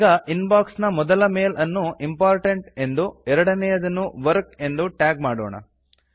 ಈಗ inbox ನ ಮೊದಲ ಮೆಲ್ ಅನ್ನು ಇಂಪೋರ್ಟೆಂಟ್ ಎಂದು ಎರಡನೆಯದನ್ನು ವರ್ಕ್ ಎಂದು ಟ್ಯಾಗ್ ಮಾಡೋಣ